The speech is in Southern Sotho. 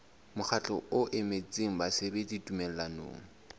mokgatlo o emetseng basebeletsi tumellanong